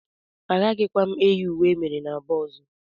Agaghịkwa m eyi uwe emere n'Aba ọzọ.